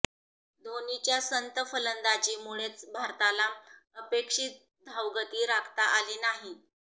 धोनीच्या संथ फलंदाजीमुळेच भारताला अपेक्षित धावगती राखता आली नाही